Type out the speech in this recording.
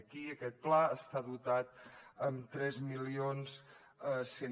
aquí aquest pla està dotat amb tres mil cent